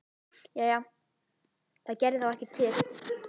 Jæja, það gerði þá ekkert til.